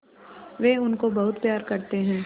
वे उनको बहुत प्यार करते हैं